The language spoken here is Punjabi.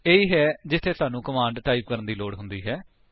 ਇਹੀ ਹੈ ਜਿਥੇ ਸਾਨੂੰ ਕਮਾਂਡ ਟਾਈਪ ਕਰਨ ਦੀ ਲੋੜ ਹੁੰਦੀ ਹੈ